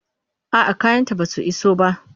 A'a, kayanta basu iso ba.